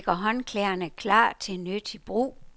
Hermed ligger håndklæderne klar til nyttig brug.